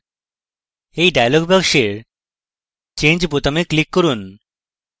এই dialog box change বোতামে click করুন